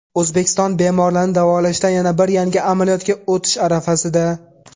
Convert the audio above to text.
O‘zbekiston bemorlarni davolashda yana bir yangi amaliyotga o‘tish arafasida.